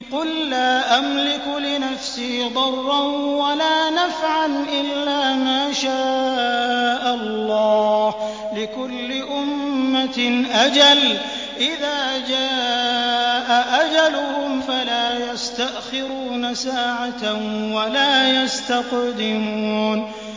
قُل لَّا أَمْلِكُ لِنَفْسِي ضَرًّا وَلَا نَفْعًا إِلَّا مَا شَاءَ اللَّهُ ۗ لِكُلِّ أُمَّةٍ أَجَلٌ ۚ إِذَا جَاءَ أَجَلُهُمْ فَلَا يَسْتَأْخِرُونَ سَاعَةً ۖ وَلَا يَسْتَقْدِمُونَ